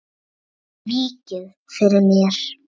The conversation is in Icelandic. Víkið fyrir mér.